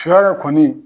Shɔ yɛrɛ kɔni